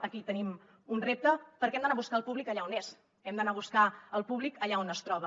aquí tenim un repte perquè hem d’anar a buscar el públic allà on és hem d’anar a buscar el públic allà on es troba